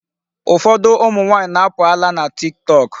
Ụfọdụ ụmụ nwaanyị na-apụ ala na Tiktok.